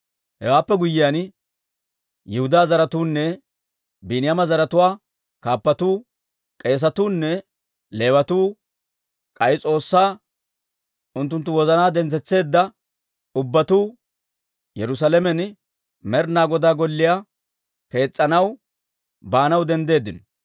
Hewaappe guyyiyaan, Yihudaa zaratuunne Biiniyaama zaratuwaa kaappatuu, k'eesatuu nne Leewatuu, k'ay S'oossay unttunttu wozanaa dentsetseedda ubbatuu Yerusaalamen Med'ina Godaa Golliyaa kees's'anaw baanaw denddeeddino.